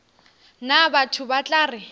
nna batho ba tla re